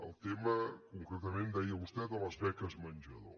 el tema concretament deia vostè de les beques menjador